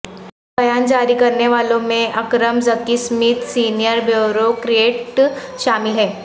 بیان جاری کرنے والوں میں اکرم ذکی سمیت سینئر بیورو کریٹ شامل ہیں